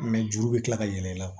juru bɛ kila ka yɛlɛ i la